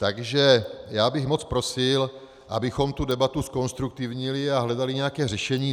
Takže já bych moc prosil, abychom tu debatu zkonstruktivnili a hledali nějaké řešení.